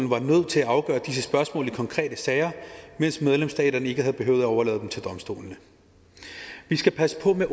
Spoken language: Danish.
var nødt til at afgøre disse spørgsmål i konkrete sager mens medlemsstaterne ikke havde behøvet at overlade dem til domstolene vi skal passe på med